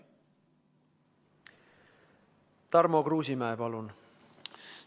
Tarmo Kruusimäe, palun!